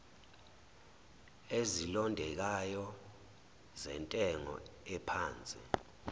ezilondekayo zentengo ephansi